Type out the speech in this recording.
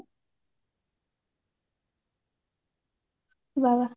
ବା